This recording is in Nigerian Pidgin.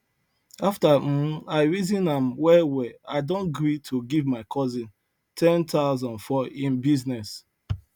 after um i reason am well well i don gree to give my cousin 10000 for him business